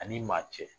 Ani maa cɛ